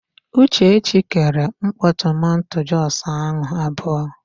Uchechi kere mkpọ tomanto jọs ahụ abụọ.